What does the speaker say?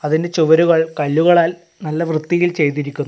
അതിൻ്റെ ചുവരുകൾ കല്ലുകളാൽ നല്ല വൃത്തിയിൽ ചെയ്തിരിക്കുന്നു.